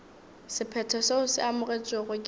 sephetho seo se amogetšwego ke